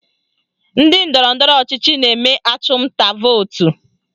Ndị ndọrọndọrọ ọchịchị na-eme achụmnta vootu